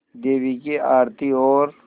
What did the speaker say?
देवी की आरती और